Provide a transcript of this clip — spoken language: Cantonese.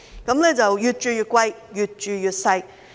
市民越住越貴，越住越細。